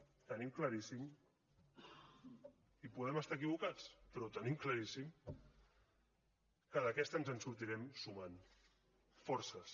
ho tenim claríssim i podem estar equivocats però ho tenim claríssim que d’aquesta ens en sortirem sumant forces